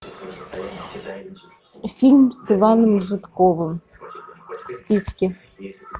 фильм с иваном жидковым списки